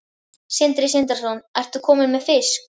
Sindri Sindrason: Ertu kominn með fisk?